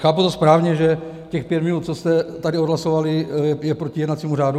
Chápu to správně, že těch pět minut, co jste tady odhlasovali, je proti jednacímu řádu?